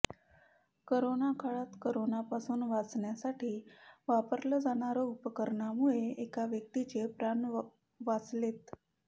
corona काळात करोनापासून वाचण्यासाठी वापरलं जाणाऱ्या उपरण्यामुळे एका व्यक्तीचे प्राण वाचलेत